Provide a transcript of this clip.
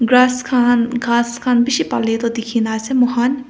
grass khan ghass khan bishi pali tu dikhi na ase moikhan.